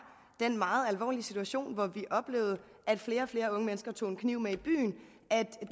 den meget alvorlige situation hvor vi oplevede at flere og flere unge mennesker tog en kniv med i byen at